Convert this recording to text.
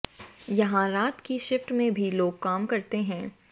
यहां रात की शिफ्ट में भी लोग काम करते हैं